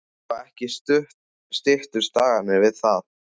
Og ekki styttust dagarnir við það.